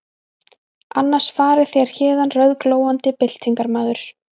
Annars farið þér héðan rauðglóandi byltingarmaður.